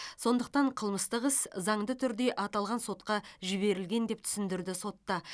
сондықтан қылмыстық іс заңды түрде аталған сотқа жіберілген деп түсіндірді сотта